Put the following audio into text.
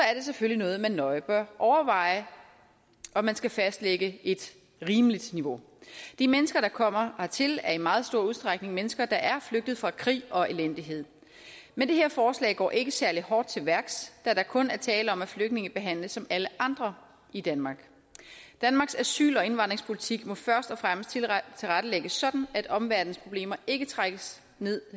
selvfølgelig noget man nøje bør overveje om man skal fastlægge et rimeligt niveau de mennesker der kommer hertil er i meget stor udstrækning mennesker der er flygtet fra krig og elendighed men det her forslag går ikke særlig hårdt til værks da der kun er tale om at flygtninge behandles som alle andre i danmark danmarks asyl og indvandringspolitik må først og fremmest tilrettelægges sådan at omverdenens problemer ikke trækkes med